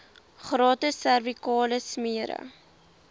gratis servikale smere